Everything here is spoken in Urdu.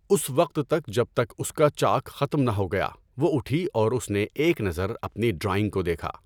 اس وقت تک جب تک اس کا چاک ختم نہ ہو گیا وہ اٹھی اور اس نے ایک نظر اپنی ڈرائنگ کودیکھا۔